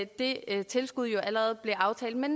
det tilskud allerede blev aftalt med